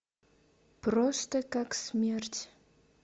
просто как смерть